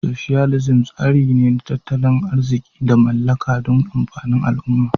" Socialism" tsari ne na tattalin arziki da mallaka dun amfanin al umma